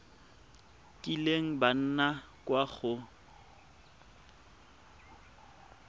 kileng ba nna kwa go